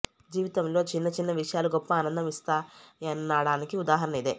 జీవితంలో చిన్న చిన్న విషయాలు గొప్ప ఆనందం ఇస్తాయనడానికి ఉదాహరణ ఇదే